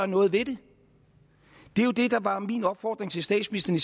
noget ved det det er jo det der var min opfordring til statsministeren